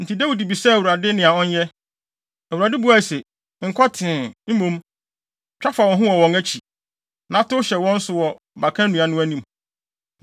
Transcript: enti Dawid bisaa Awurade nea ɔnyɛ. Awurade buae se, “Nkɔ tee, mmom, twa fa wɔn ho wɔ wɔn akyi, na tow hyɛ wɔn so wɔ baka nnua no anim.